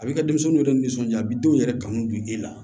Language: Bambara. A bɛ ka denmisɛnninw yɛrɛ nisɔnja a bɛ denw yɛrɛ kanu bi e la